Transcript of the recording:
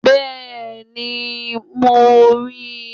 Bẹ́ẹ̀ni, mo rí i